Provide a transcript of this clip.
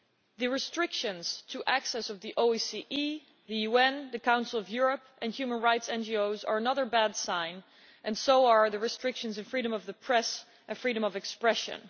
The restrictions to access to the OSCE, the UN, the Council of Europe and human rights NGOs are another bad sign, and so are the restrictions on freedom of the press and freedom of expression.